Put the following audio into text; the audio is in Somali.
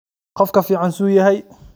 Qofka fiicn suu yahy?